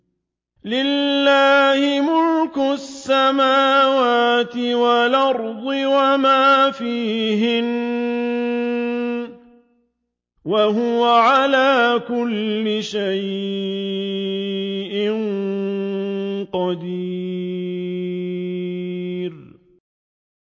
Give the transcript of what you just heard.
لِلَّهِ مُلْكُ السَّمَاوَاتِ وَالْأَرْضِ وَمَا فِيهِنَّ ۚ وَهُوَ عَلَىٰ كُلِّ شَيْءٍ قَدِيرٌ